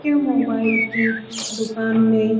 यह मोबाइल की दुकान में --